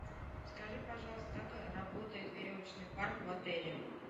скажи пожалуйста как работает веревочный парк в отеле